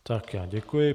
Tak, já děkuji.